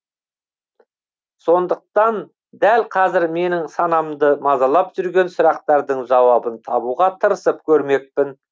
сондықтан дәл қазір менің санамды мазалап жүрген сұрақтардың жауабын табуға тырысып көрмекпін